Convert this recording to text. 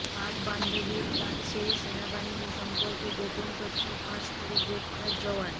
পাক বান্ধবীর কাছে সেনাবাহিনী সম্পর্কে গোপন তথ্য ফাঁস করে গ্রেফতার জওয়ান